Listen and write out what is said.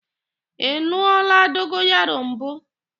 Ị n̄ụọla dogoyaro mbụ?